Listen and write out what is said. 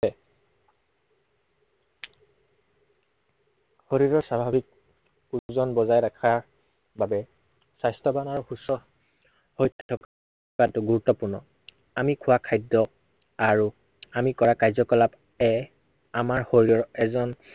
শৰীৰৰ স্বাভাৱিক, ওজন বজাই ৰখাৰ বাবে, স্বাস্থ্য়ৱানৰ সূচক তাত গুৰুত্বপূৰ্ণ। আমি খোৱা খাদ্য় আৰু আমি কৰা কাৰ্যকলাপ এ আমাৰ শৰীৰৰ এজন